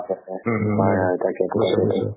উম উম উম নিশ্চয় নিশ্চয়